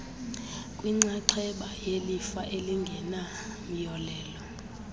kwinxaxheba yelifa elingenamyolelo